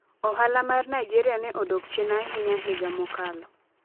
Ohala mar Nigeria ne odok chien ahinya higa mokalo